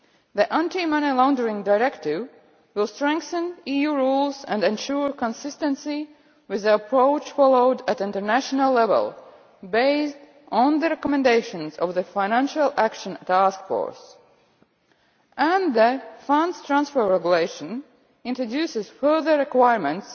The Anti Money Laundering Directive will strengthen EU rules and ensure consistency with the approach followed at international level, based on the recommendations of the Financial Action Task Force. And the Funds Transfer Regulation introduces further requirements